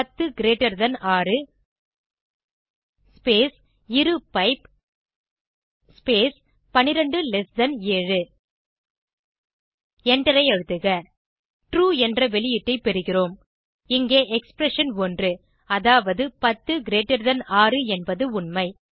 10 greater than 6 space இரு pipe space 12 less than 7 எண்டரை அழுத்துக ட்ரூ என்ற வெளியீட்டை பெறுகிறோம் இங்கே எக்ஸ்பிரஷன் 1 அதாவது 106 என்பது உண்மை